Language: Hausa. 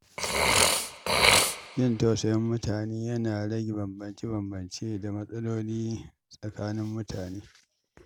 Jin tausayin mutane yana rage bambance-bambance da matsaloli tsakanin mutane.